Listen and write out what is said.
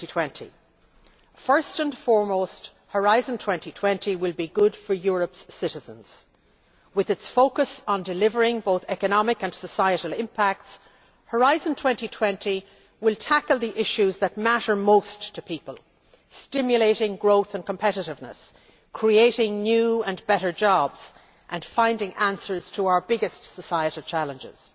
2020? First and foremost, Horizon 2020 will be good for Europe's citizens. With its focus on delivering both economic and societal impacts, Horizon 2020 will tackle the issues that matter most to people, stimulating growth and competitiveness, creating new and better jobs and finding answers to our biggest societal challenges.